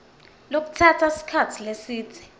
lokutsatsa sikhatsi lesidze